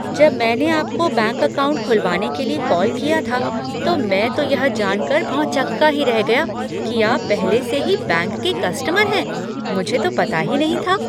जब मैंने आपको बैंक अकाउंट खुलवाने के लिए कॉल किया था, तो मैं तो यह जानकर भौंचक्का ही रह गया कि आप पहले से ही बैंक के कस्टमर हैं, मुझे तो पता ही नहीं था।